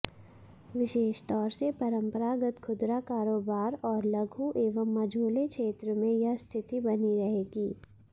विशेषतौर से परंपरागत खुदरा कारोबार और लघु एवं मझोले क्षेत्र में यह स्थिति बनी रहेगी